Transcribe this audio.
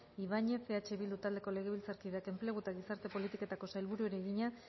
ibañez eh bildu taldeko legebiltzarkideak enplegu eta gizarte politiketako sailburuari egina